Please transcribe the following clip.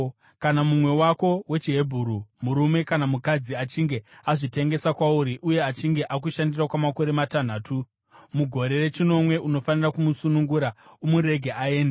Kana mumwe wako wechiHebheru, murume kana mukadzi, achinge azvitengesa kwauri uye achinge akushandira kwamakore matanhatu, mugore rechinomwe unofanira kumusunungura umurege aende.